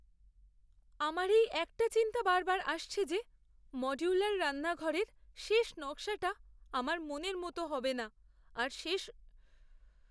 আমার এই একটা চিন্তা বারবার আসছে যে মডুলার রান্নাঘরের শেষ নকশাটা আমার মনের মতো হবে না আর শেষে আমি এমন একটা জিনিস পাব যেটা আমার রুচি বা প্রয়োজনের সঙ্গে খাপ খায় না।